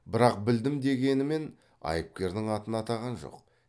бірақ білдім дегенімен айыпкердің атын атаған жоқ